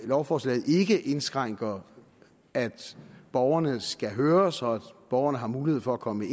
lovforslaget ikke indskrænker at borgerne skal høres og at borgerne har mulighed for at komme